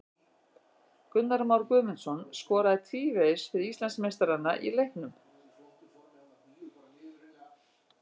Gunnar Már Guðmundsson skoraði tvívegis fyrir Íslandsmeistarana í leiknum.